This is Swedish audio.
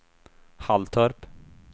Halltorp